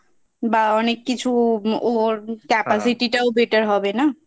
বা অনেক কিছু ওর Capacity টাও Better হবে না